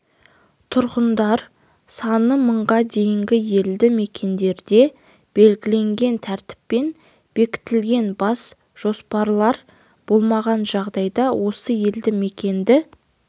тұрғындар саны мыңға дейінгі елді мекендерде белгіленген тәртіппен бекітілген бас жоспарлар болмаған жағдайда осы елді мекенді